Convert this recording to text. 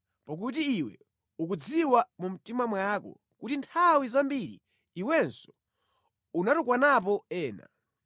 pakuti iwe ukudziwa mu mtima mwako kuti nthawi zambiri iwenso unatukwanapo ena.